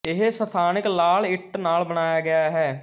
ਇਹ ਸਥਾਨਕ ਲਾਲ ਇੱਟ ਨਾਲ ਬਣਾਇਆ ਗਇਆ ਹੈ